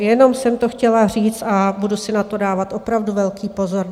Jenom jsem to chtěla říct a budu si na to dávat opravdu velký pozor.